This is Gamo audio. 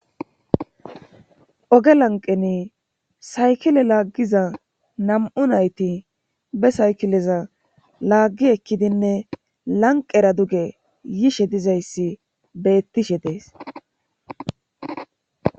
Oge lanqeni saykile laaggiza nam7u nayti be saykileza laaggi ekkidinne lanqera duge yiishe dizayssi beettishe dees.